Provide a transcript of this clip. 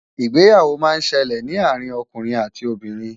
ìgbéyàwó má ń ṣẹlẹ ní àrin okùnrin àti Obìnrin